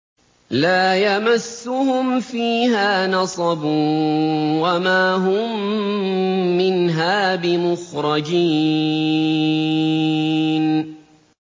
لَا يَمَسُّهُمْ فِيهَا نَصَبٌ وَمَا هُم مِّنْهَا بِمُخْرَجِينَ